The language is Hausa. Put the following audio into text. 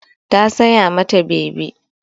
Ta saya ma ta bebi.